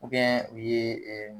u ye